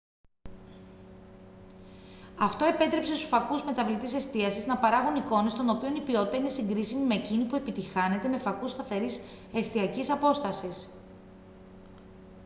αυτό επέτρεψε στους φακούς μεταβλητής εστίασης να παράγουν εικόνες των οποίων η ποιότητα είναι συγκρίσιμη με εκείνη που επιτυγχάνεται με φακούς σταθερής εστιακής απόστασης